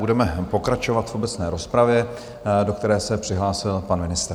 Budeme pokračovat v obecné rozpravě, do které se přihlásil pan ministr.